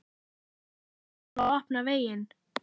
En hvenær á svo að opna veginn?